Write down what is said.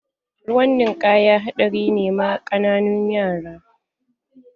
Ruwan ninkaya haɗari ne ma ƙananun yara.